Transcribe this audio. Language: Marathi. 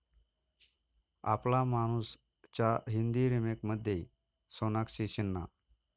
आपला मानूस'च्या हिंदी रिमेकमध्ये सोनाक्षी सिन्हा